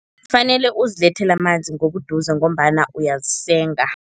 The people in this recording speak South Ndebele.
Kufanele uzilethele amanzi ngobuduze ngombana uyazisenga.